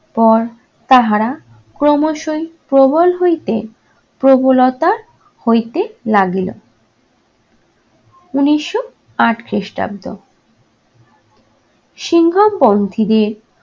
পর তাহারা ক্রমশই প্রবল হইতে প্রবলতা হইতে লাগিল। উনিশশো আট খ্রিস্টাব্দ সিংঘম পন্থীদের